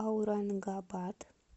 аурангабад